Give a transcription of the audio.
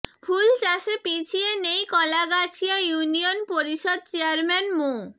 ফুল চাষে পিছিয়ে নেই কলাগাছিয়া ইউনিয়ন পরিষদ চেয়ারম্যান মো